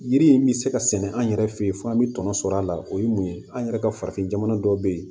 Yiri in bɛ se ka sɛnɛ an yɛrɛ fɛ yen fo an bɛ tɔnɔ sɔrɔ a la o ye mun ye an yɛrɛ ka farafin jamana dɔw bɛ yen